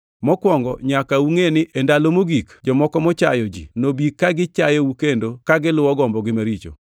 Mokwongo nyaka ungʼe ni e ndalo mogik jomoko machayo ji nobi ka gichayou kendo ka giluwo gombogi maricho.